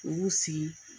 U sigi